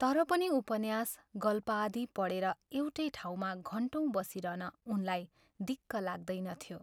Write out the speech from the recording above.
तर पनि उपन्यास, गल्पादि पढेर एउटै ठाउँमा घन्टौँ बसिरहन उनलाई दिक्क लाग्दैनथ्यो।